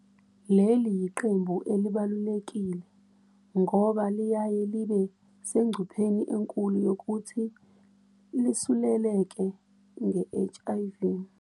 Leli yiqembu elibalulekile ngoba liyaye libe sengcupheni enkulu yokuthi lisuleleke nge-HIV.